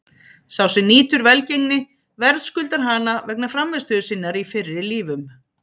Sá sem nýtur velgengni verðskuldar hana vegna frammistöðu sinnar í fyrri lífum.